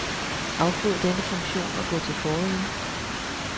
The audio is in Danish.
Afbryd denne funktion og gå til forrige.